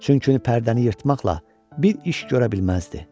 Çünki pərdəni yırtmaqla bir iş görə bilməzdi.